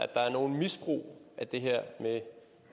der er noget misbrug af det her med